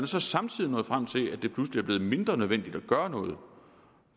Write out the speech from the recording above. så samtidig nået frem til at det pludselig er blevet mindre nødvendigt at gøre